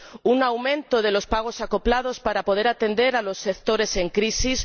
un aumento de los pagos acoplados para poder atender a los sectores en crisis.